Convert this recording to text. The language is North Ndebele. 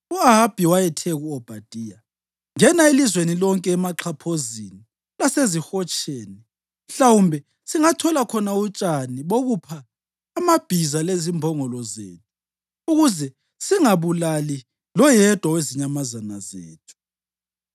U-Ahabi wayethe ku-Obhadaya, “Ngena elizweni lonke emaxhaphozini lasezihotsheni. Mhlawumbe singathola khona utshani bokupha amabhiza lezimbongolo zethu ukuze singabulali leyodwa yezinyamazana zethu.”